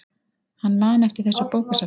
Hann man eftir þessu bókasafni.